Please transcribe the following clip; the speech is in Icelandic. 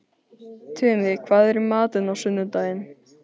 Tumi, hvað er í matinn á sunnudaginn?